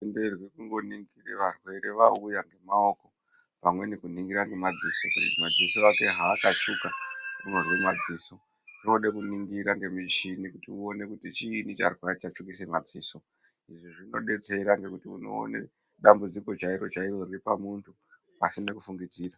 ...tenderwi kungoningira varwere vauya ngemaoko pamweni kuningira nemadziso kuti madziso ake haakatsvuka pamwe unozwe madziso. Zvinode kuningira ngemichini kuti uone kuti chiini chatsvukise madziso. Izvi zvinodetsere kuti unoone dambudziko chairo-chairo riripamuntu, pasine kufungidzira.